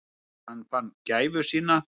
Þegar hann fann gæfu sína.